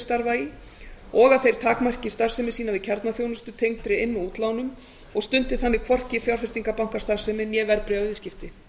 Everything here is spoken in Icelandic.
starfa í og að þeir takmarki starfsemi sína við kjarnaþjónustu tengdri inn og útlánum og stundi þannig hvorki fjárfestingarbankastarfsemi né verðbréfaviðskipti